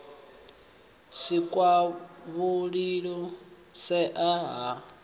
si kwavhui u shaea ha